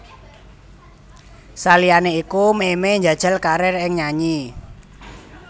Saliyané iku Memey njajal karir ing nyanyi